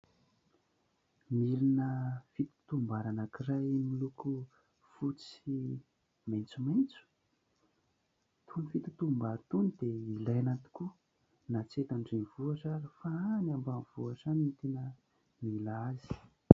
Milina fitotom-bary anankiray miloko fotsy sy maitsomaitso, itony fitotom-bary itony dia ilaina tokoa na tsy eto an-drenivohitra ary fa any ambanivohitra any no tena mila azy.